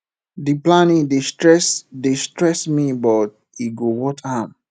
di planning dey stress dey stress me but e go worth am